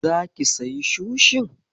Zaki sayi sushin?